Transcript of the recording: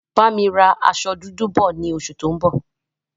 Bámi ra aṣọ dúdú bọ̀ ni oṣù tó ń bọ̀